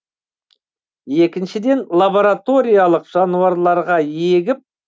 екіншіден лабораториялық жануарларға егіп